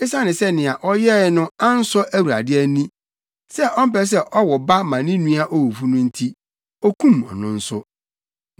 Esiane sɛ nea ɔyɛe no ansɔ Awurade ani, sɛ ɔmpɛ sɛ ɔwo ba ma ne nua owufo no nti, okum ɔno nso.